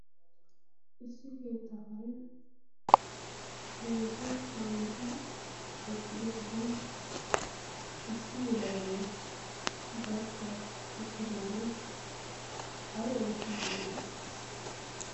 issi keettaa karen heezzu kaameti eqqido sohuuwn issi yelagai barkka uttidaagee ay oottiidi de'i?